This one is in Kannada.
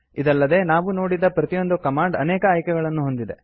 ಇದಲ್ಲದೆ ನಾವು ನೋಡಿದ ಪ್ರತಿಯೊಂದು ಕಮಾಂಡ್ ಅನೇಕ ಆಯ್ಕೆಗಳನ್ನು ಹೊಂದಿದೆ